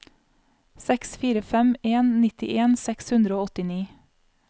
seks fire fem en nittien seks hundre og åttini